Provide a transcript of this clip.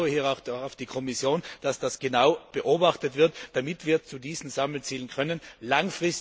Und ich vertraue auch auf die Kommission, dass das genau beobachtet wird, damit wir diese Sammelziele erreichen.